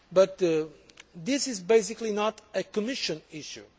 But this is basically not a Commission issue.